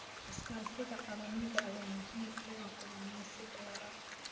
Iskaashiga caalamiga ah ayaa muhiim u ah kalluumeysiga waara.